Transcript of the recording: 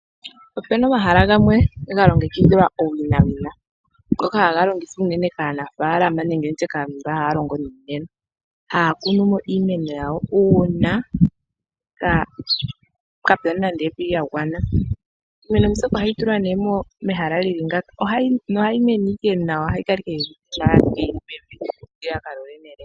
Ope na omahala gamwe ga longekidhilwa owinawina ngoka haga longekidhwa owina kaanafaalama nenge kaantu mboka haya longo niimeno. Haa kunu mo iimeno yawo uuna kaapu na evi lya gwana. Iimeno mbyoka ohayi tulwa ihe mehala lya tya ngaaka nohayi mene owala nawa ya fa yi li mevi.